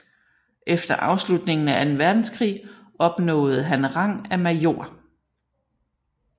Efter afslutningen af Anden Verdenskrig opnåede han rang af major